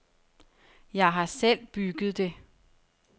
Jeg har selv bygget det.